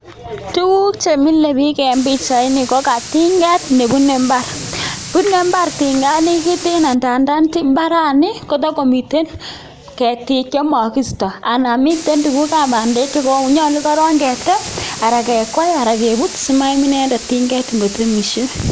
Tuguk chemile biik en pichait ni kokatinget nebune mbaar, bune mbaar tinganikiten ngandan mbarani kotakomiten ketik chemokisto anan miten tuguk ab bandek chenyolu korok ketem anan kekwai anan kebut simaim tinget ngotemisye.